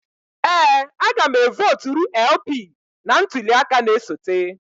Ee a ga m e votụrụ LP na ntuli aka na-esote